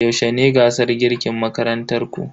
Yaushe ne gasar girkin makarantar ku?